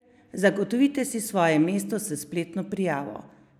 Zagotovite si svoje mesto s spletno prijavo!